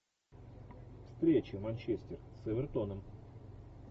встреча манчестер с эвертоном